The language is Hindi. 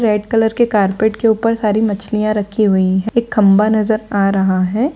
रेड कलर के कार्पेट के ऊपर सारी मछलियाँ रखी हुई है एक खंभा नजर आ रहा है।